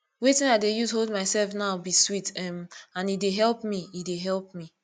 wetin i dey use hold myself now be sweet um and e dey help e dey help